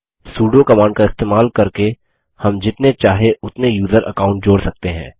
sudo command का इस्तेमाल करके हम जितने चाहे उतने यूज़र अकाउंट जोड़ सकते हैं